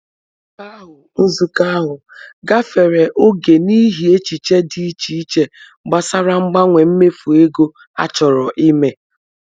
Nzukọ ahu Nzukọ ahu gafere oge n'ihi echiche dị iche iche gbasara mgbanwe mmefu ego a chọrọ i mee.